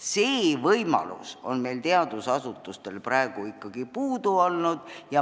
See võimalus on teadusasutustel praegu ikkagi puudu olnud.